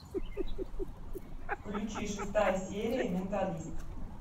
включи шестая серия менталист